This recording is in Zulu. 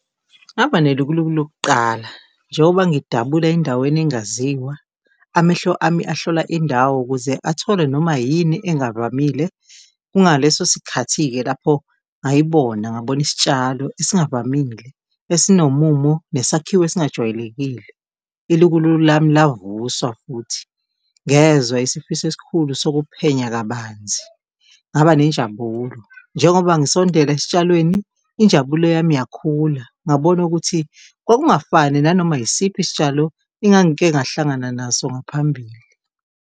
Ngaba nelukuluku lokuqala njengoba ngidabula endaweni engaziwa, amehlo ami ahlola indawo ukuze athole noma yini engavamile, kungaleso sikhathi-ke lapho ngayibona ngabona isitshalo ezingavamile esinomumo nesakhiwo esingajwayelekile. Ilukuluku lami lavuswa futhi, ngezwa isifiso esikhulu sokuphenya kabanzi, ngaba nenjabulo. Njengoba ngisondela esitshalweni, injabulo yami yakhula, ngabona ukuthi kwakungafani nanoma yisiphi isitshalo engangike ngahlangana naso ngaphambili.